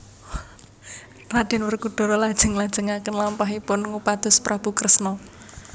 Raden Werkudara lajeng nglajengaken lampahipun ngupados Prabu Kresna